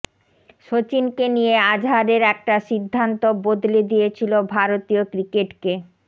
সচিনকে নিয়ে আজহারের একটা সিদ্ধান্ত বদলে দিয়েছিল ভারতীয় ক্রিকেটকে